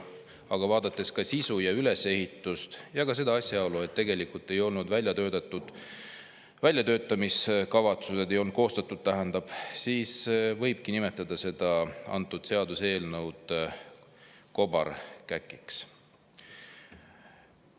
Aga vaadates sisu ja ülesehitust ning seda asjaolu, et tegelikult väljatöötamiskavatsust ei olnud koostatud, võibki nimetada seda seaduseelnõu kobarkäkiks.